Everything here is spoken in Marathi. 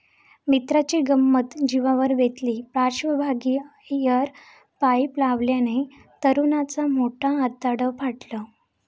मित्राची गंमत जिवावर बेतली, पार्श्वभागी एअर पाईप लावल्यानं तरुणाचं मोठं आतडं फाटलं